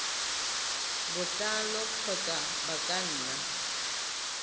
botlalo kgotsa ba ka nna